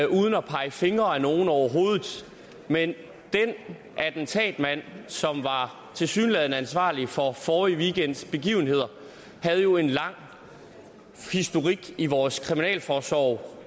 uden at pege fingre af nogen overhovedet den attentatmand som tilsyneladende var ansvarlig for forrige weekends begivenheder havde jo en lang historik i vores kriminalforsorg